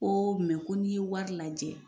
Koo mɛ ko n'i ye wari lajɛ